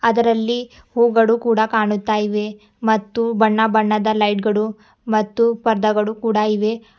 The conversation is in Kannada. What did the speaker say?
ಇದರಲ್ಲಿ ಹೂಗಳು ಕೂಡ ಕಾಣುತ್ತಾಯಿವೆ ಮತ್ತು ಬಣ್ಣಬಣ್ಣದ ಲೈಟ್ ಗಳು ಮತ್ತು ಪರ್ದಾಗಳು ಕೂಡ ಇವೆ.